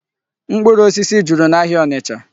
Mkpụrụ osisi juru n'ahịa Ọnịcha.